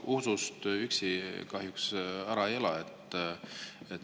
No usust üksi kahjuks ära ei ela.